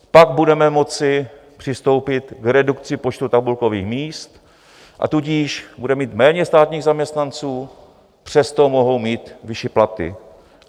Pak budeme moci přistoupit k redukci počtu tabulkových míst, a tudíž budeme mít méně státních zaměstnanců, přesto mohou mít vyšší platy.